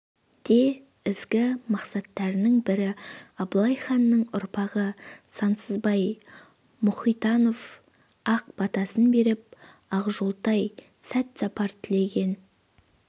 де ізгі мақсаттарының бірі абылай ханның ұрпағы сансызбай мұхитанов ақ батасын беріп ақжолтай сәтсапар тілеген